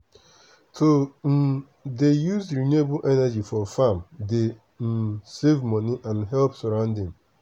to um dey use renewable energy for farm dey um save money and help surrounding.